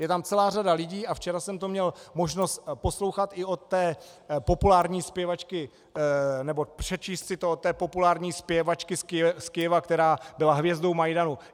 Je tam celá řada lidí, a včera jsem to měl možnost poslouchat i od té populární zpěvačky, nebo přečíst si to od té populární zpěvačky z Kyjeva, která byla hvězdou Majdanu.